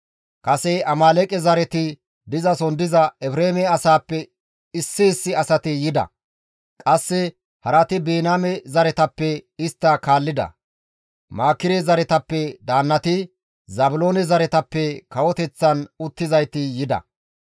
Kase Amaaleeqe zareti dizason diza Efreeme asaappe issi issi asati yida. Qasse harati Biniyaame zereththatappe istta kaallida. Maakire zaretappe daannati, Zaabiloone zaretappe kawoteththan uttizayti yida.